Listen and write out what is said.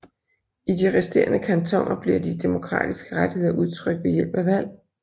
I de resterende kantoner bliver de demokratiske rettigheder udtrykt ved hjælp af valg